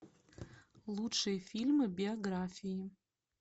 лучшие фильмы биографии